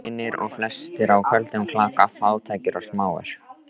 Hinir eru flestir á köldum klaka, fátækir og smáir.